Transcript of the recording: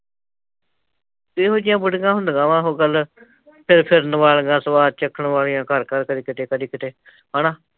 ਏਹੋ ਜਹੀਆ ਬੜੀਂਆ ਹੁੰਦੀਆਂ ਵਾਂ ਆਹੋ ਗੱਲ ਫਿਰਨ ਫਿਰਨ ਵਾਲੀਆਂ ਸਵਾਦ ਚੱਕਣ ਵਾਲਿਆਂ ਕਰ ਕਰ ਕਦੀ ਕਿਤੇ ਕਦੀ ਕਿਤੇ, ਹੈਨਾ